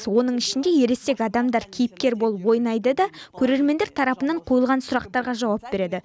оның ішінде ересек адамдар кейіпкер болып ойнайды да көрермендер тарапынан қойылған сұрақтарға жауап береді